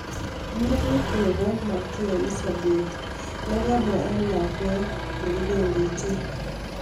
Murenyit nebo Malkia Elizabeth ne kabwey en lakwet nebo kibendi chi.